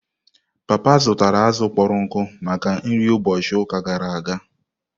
Papa zụtara azụ̀ kpọrọ nkụ maka nri ụbọchị ụka gara aga.